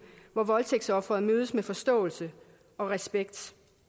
hvor voldtægtsofferet mødes med forståelse og respekt